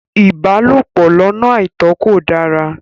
Ìbálòpọ̀ lọ́nà àìtó kò dára.